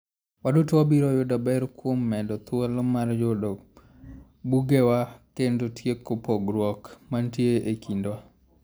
Waduto wabiro yudo ber kuom medo thuolo mar yudo bugewa kendo tieko pogruok mantie e kindwa.